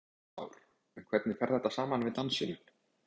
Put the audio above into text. Kristján Már: En hvernig fer þetta saman við dansinn?